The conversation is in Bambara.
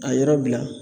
A yɔrɔ bila